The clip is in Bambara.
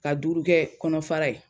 Ka duuru kɛ kɔnɔfara ye.